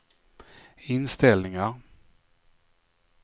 inställningar